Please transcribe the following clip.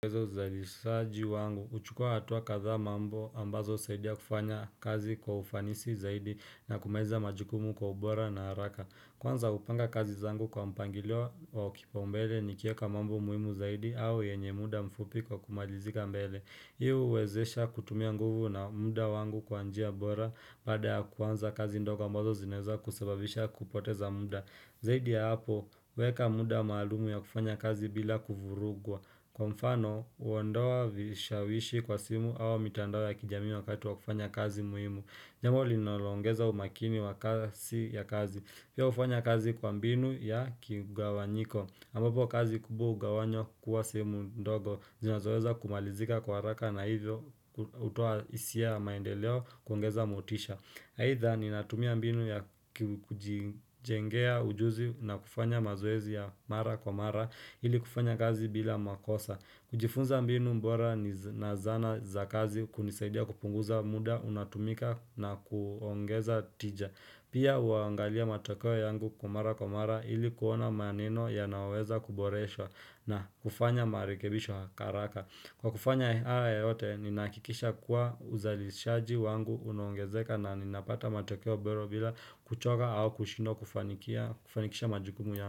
Zaidi saaji wangu, uchukua hatua katha mambo ambazo saidi ya kufanya kazi kwa ufanisi zaidi na kumeza majikumu kwa ubora na haraka. Kwanza kupanga kazi zangu kwa mpangilio wa kipaumbele nikieka mambo muhimu zaidi au yenye muda mfupi kwa kumalizika mbele. Hii uwezesha kutumia nguvu na muda wangu kwa njia bora baada ya kwanza kazi ndogo ambazo zinaeza kusababisha kupoteza muda. Zaidi ya hapo, weka muda maalumu ya kufanya kazi bila kufurugwa. Kwa mfano, uhuondoa vishawishi kwa simu au mitandao ya kijamii wakati wa kufanya kazi muhimu. Jambo linoloongeza umakini wa kazi ya kazi. Pia hufanya kazi kwa mbinu ya kiugawanyiko. Ambapo kazi kubwa hugawanywa kuwa sehemu ndogo. Zinazoweza kumalizika kwa haraka na hivyo hutoa hisia ya maendeleo kuongeza motisha. Either, ninatumia mbinu ya kijijengea ujuzi na kufanya mazoezi ya mara kwa mara. Ili kufanya kazi bila makosa kujifunza mbinu bora na zana za kazi kunisaidia kupunguza muda unatumika na kuongeza tija pia huangalia matokeo yangu kwa mara kwa mara ili kuona maneno yanayoweza kuboresha na kufanya marekebisho hakara haraka kwa kufanya haya yote ninahakikisha kuwa uzalishaji wangu unaongezeka na ninapata matokeo bora bila kuchoka au kushindwa kufanikisha majukumu ya.